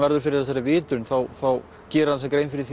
verður fyrir þessari vitrun þá gerir hann sér grein fyrir